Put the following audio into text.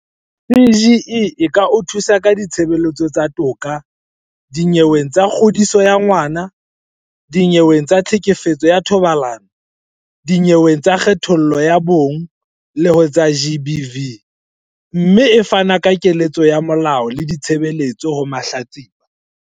CGE e ka o thusa ka ditshebeletso tsa toka dinyeweng tsa kgodiso ya ngwana, dinyeweng tsa tlhekefetso ka thobalano, dinyeweng tsa kgethollo ho ya ka bong le ho tsa GBV, mme e fana ka keletso ya molao le ditshebeletso ho mahlatsipa.